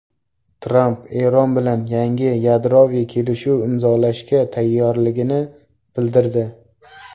Tramp Eron bilan yangi yadroviy kelishuv imzolashga tayyorligini bildirdi.